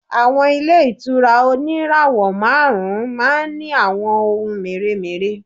Àwọn ilé ìtura oníràwọ̀ márùn-ún ma ń ní àwọn ohun mèremère.